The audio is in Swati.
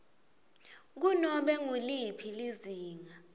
kunobe nguliphi lizinga